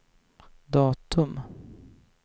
datum